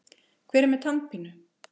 Hver er með tannpínu?